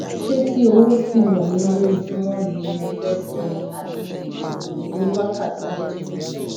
ṣé ti owó tí mò ń ná lójúmọ ni mo fẹẹ sọ ni àbí tí oògùn oníwákàtí méjìméjì